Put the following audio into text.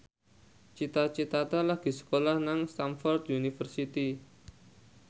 Cita Citata lagi sekolah nang Stamford University